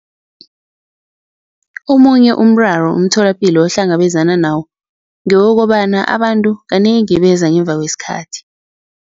Omunye umraro umtholapilo ohlangabezana nawo ngewokobana abantu kanengi beza ngemva kwesikhathi.